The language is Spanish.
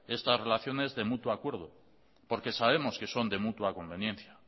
estas relaciones de mutuo acuerdo porque sabemos que son de mutua conveniencia